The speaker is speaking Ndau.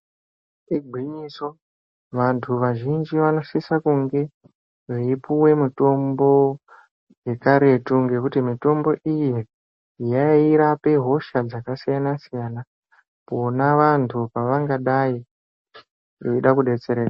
Igwinyiso vantu vazhinji vanosisa kunge veyipuwe mitombo yekaretu, ngekuti mitombo iyi yairape hosha dzakasiyana-siyana, pona vantu pavangadayi veyida kudetsereka.